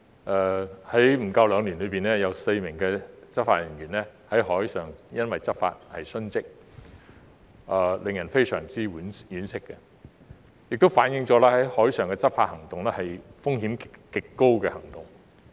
在少於兩年的時間內，有4名執法人員因在海上執法而殉職，令人非常惋惜，亦反映海上執法行動有極高風險。